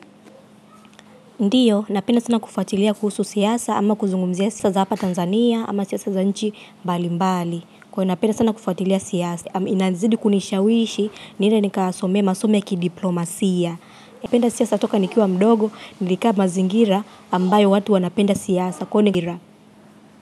Ndio, napenda sana kufuatilia kuhusu siasa ama kuzungumzia siasa za hapa Tanzania ama siasa za nchi mbali mbali. Kwa hiyo napenda sana kufuatilia siasa, inazidi kunishawishi niende nikasome masomo ya kidiplomasia. Napenda siasa toka nikiwa mdogo, nilikaa mazingira ambayo watu wanapenda siasa.